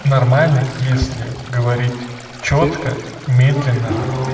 нормально если говорить чётко медленно